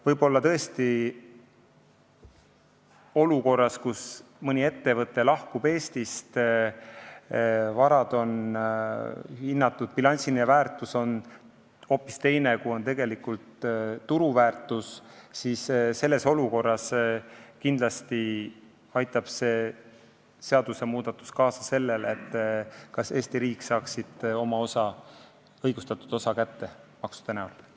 Võib-olla tõesti olukorras, kus mõni ettevõte lahkub Eestist, varad on hinnatud ja bilansiline väärtus on hoopis teine, kui on tegelik turuväärtus, aitab see seadusmuudatus kaasa sellele, et ka Eesti riik saaks oma õigustatud osa maksude kujul kätte.